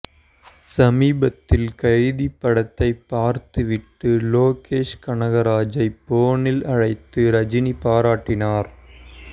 சமீபத்தில் கைதி படத்தை பார்த்துவிட்டு லோகேஷ் கனகராஜை போனில் அழைத்து ரஜினி பாராட்டினார்